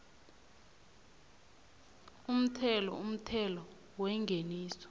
umthelo umthelo wengeniso